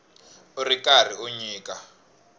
u ri karhi u nyika